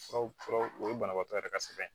Furaw furaw o ye banabaatɔ yɛrɛ ka sɛbɛn ye